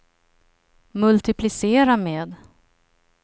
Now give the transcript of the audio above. multiplicera med